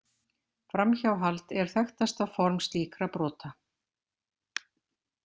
Framhjáhald er þekktasta form slíkra brota.